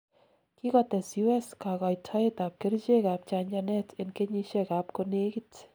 kikotes U.S kagoitoet ab kerichek ab chanchanet en kenyisiek ab konegit